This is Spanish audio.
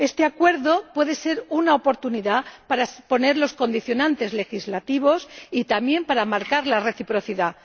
Este Acuerdo puede ser una oportunidad para imponer los condicionantes legislativos y también para marcar la reciprocidad.